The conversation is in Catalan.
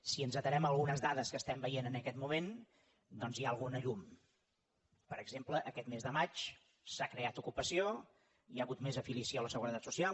si ens atenem a algunes dades que estem veient en aquest moment doncs hi ha alguna llum per exemple aquest mes de maig s’ha creat ocupació hi ha hagut més afiliació a la seguretat social